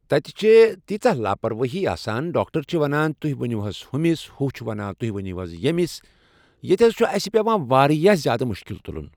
تتہِ چھِ تیٖژاہ لاپروٲہی آسان ڈاکٹر چھِ ونان تُہۍ ؤنِو ہُمِس ہُہ چھُ ونان تُہۍ ؤنِو ییٚمِس ییٚتہِ حض چھُ اسہِ پٮ۪وان واریاہ زیادٕ مشکل تُلُن